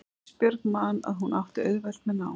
Ísbjörg man að hún átti auðvelt með nám.